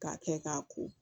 K'a kɛ k'a ko